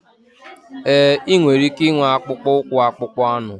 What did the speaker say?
Ee, ị nwere ike ịnwe akpụkpọ ụkwụ akpụkpọ anụ.